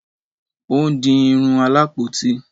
o n di Irun Alapoti